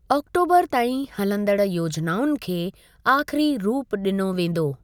ऑक्टोबरु ताईं हलंदड़ु योजनाउनि खे आख़िरी रूप ॾिनो वेंदो।